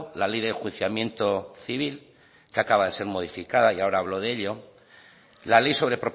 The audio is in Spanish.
la ley de enjuiciamiento civil que acaba de ser modificada y ahora hablo de ello la ley sobre